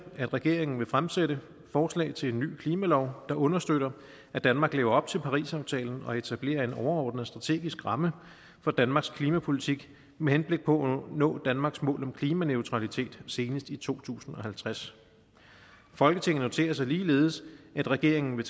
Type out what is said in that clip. at regeringen vil fremsætte forslag til en ny klimalov der understøtter at danmark lever op til parisaftalen og etablerer en overordnet strategisk ramme for danmarks klimapolitik med henblik på at nå danmarks mål om klimaneutralitet senest i to tusind og halvtreds folketinget noterer sig ligeledes at regeringen vil